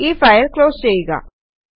ഈ file close ചെയ്യുക